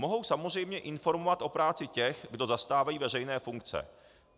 Mohou samozřejmě informovat o práci těch, kdo zastávají veřejné funkce.